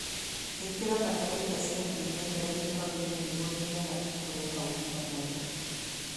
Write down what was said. Ĩkĩra bataritha cia kĩmerera gĩitoini niguo mĩmera ĩkũre na ũgima mwega